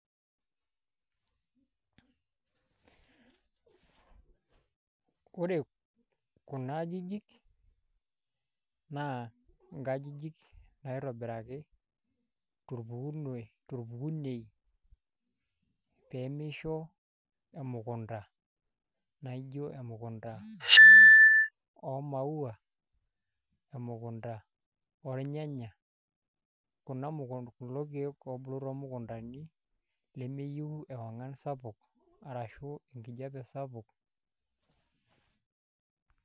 Ore kuna ajijik naa ingajijik naitobiraki torpukunei pee misho emukunda naa ijio emukunda oomaua emukunda ornyanya kuna, kulo keek toomukundani lemeyieu eong'an sapuk arashu enkijiape sapuk.